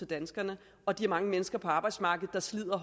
danskerne og de mange mennesker på arbejdsmarkedet der slider